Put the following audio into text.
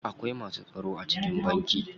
Akwai masu tsaro a cikin banki.